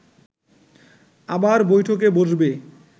আবার বৈঠকে বসবে